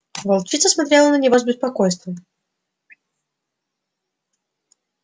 волчица смотрела на него с беспокойством